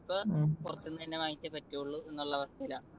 ഇപ്പൊ പുറത്തുന്നു തന്നെ വാങ്ങിച്ചേ പറ്റുള്ളൂ എന്നുള്ള അവസ്ഥയിലാ.